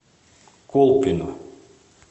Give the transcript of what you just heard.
колпино